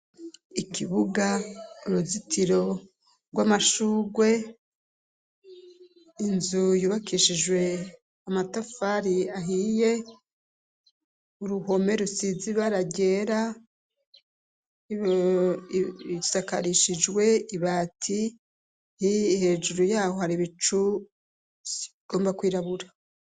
Ikibuga, uruzitiro rw'amashugwe inzu yubakishijwe amatafari ahiye. Uruhome rusize baragera bisakarishijwe ibati hi hejuru yaho hari bicu igomba kwirabura.